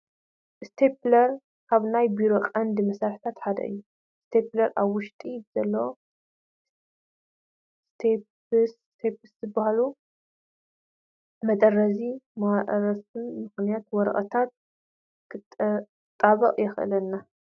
ስቴፕለር ካብ ናይ ቢሮ ቀንዲ መሳርሕታት ሓደ እዩ፡፡ ስቲፕለር ኣብ ውሽጡ ብዘለዉ ስቴፕልስ ዝበሃሉ መጠረዚ ማራፍእ ምኽንያት ወረቐታት ክነጣብቕ የኽእለና፡፡